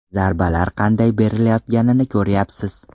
Zarbalar qanday berilayotganini ko‘ryapsiz.